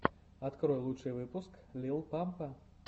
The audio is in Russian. открой лучший выпуск лил пампа